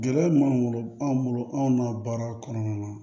Gɛlɛya min b'an bolo an bolo anw na baara kɔnɔna na